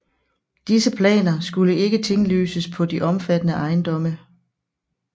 Disse planer skulle ikke tinglyses på de omfattede ejendomme